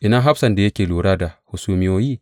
Ina hafsan da yake lura da hasumiyoyi?